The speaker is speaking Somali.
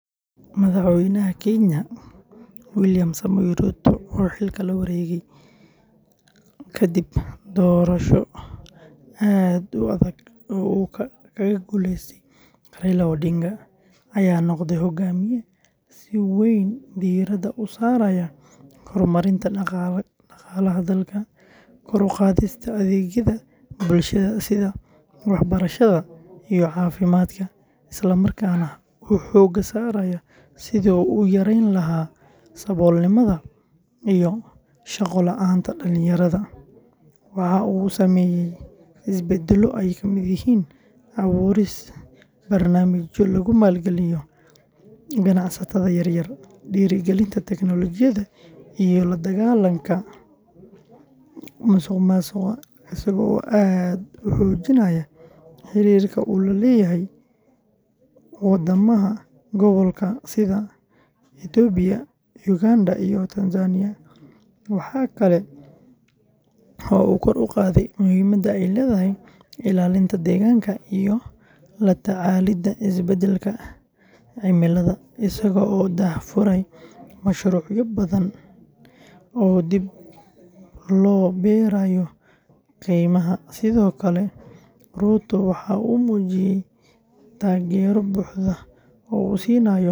Madaxweynaha Kenya William Samoei Ruto, oo xilka la wareegay kadib doorasho aad u adag oo uu kaga guuleystay Raila Odinga, ayaa noqday hoggaamiye si weyn diiradda u saaraya horumarinta dhaqaalaha dalka, kor u qaadista adeegyada bulshada sida waxbarashada iyo caafimaadka, isla markaana uu xooga saaray sidii uu u yarayn lahaa saboolnimada iyo shaqo la’aanta dhalinyarada, waxa uu sameeyay isbeddelo ay kamid yihiin abuurista barnaamijyo lagu maalgelinayo ganacsatada yar yar, dhiirrigelinta teknoolojiyadda, iyo la dagaallanka musuqmaasuqa, isaga oo aad u xoojinaya xiriirka uu la leeyahay waddamada gobolka sida Itoobiya, Uganda iyo Tanzania, waxa kale oo uu kor u qaaday muhiimadda ay leedahay ilaalinta deegaanka iyo la tacaalidda isbeddelka cimilada, isaga oo daahfuray mashruucyo badan oo dib loo beerayo kaymaha.